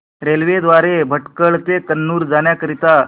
railway द्वारे भटकळ ते कन्नूर जाण्या करीता